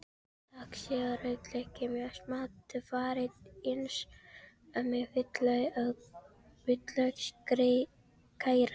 Saxið rauðlaukinn mjög smátt og farið eins með hvítlauksgeirann.